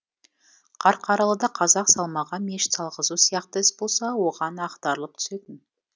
қарқаралыда қазақ салмаған мешіт салғызу сияқты іс болса оған ақтарылып түсетін